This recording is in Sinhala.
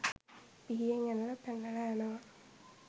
පිහියෙන් ඇනලා පැනලා යනවා.